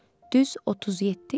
Düz 37 il.